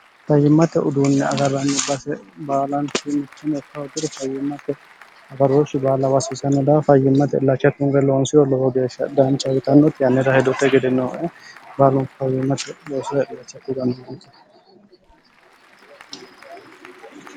fayyimmate uduunni agarranni base baalanchi muchani yokkahuggire fayyimmate agaroohshi baala wassisanno daa fayyimmate ilacha kinwe loonsiro lowo geeshsha daanchayitannoti yannira hedote gede nooe baalunku fayyimmate loose